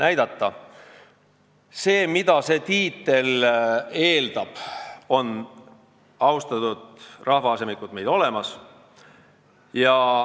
Austatud rahvaasemikud, see, mida see tiitel eeldab, on meil olemas.